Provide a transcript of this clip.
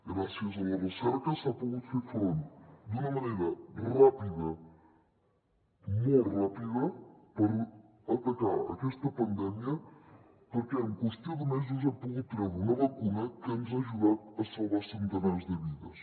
gràcies a la recerca s’ha pogut fer front d’una manera ràpida molt ràpida per atacar aquesta pandèmia perquè en qüestió de mesos hem pogut treure una vacuna que ens ha ajudat a salvar centenars de vides